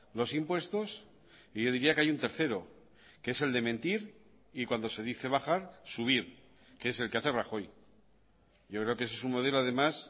los impuestos y yo diría que hay un tercero que es el de mentir y cuando se dice bajar subir que es el que hace rajoy yo creo que ese es un modelo además